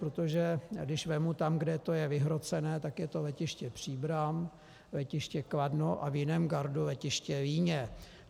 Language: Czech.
Protože když vezmu tam, kde je to vyhrocené, tak je to letiště Příbram, letiště Kladno a v jiném gardu letiště Líně.